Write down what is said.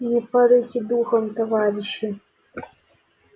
не падайте духом товарищи